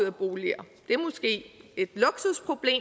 af boliger det er et luksusproblem